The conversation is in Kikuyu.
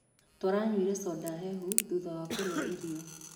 Tũranyuire conda hehu thutha wa kũrĩa iro.